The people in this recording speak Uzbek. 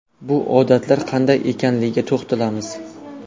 Bu odatlar qanday ekanligiga to‘xtalamiz.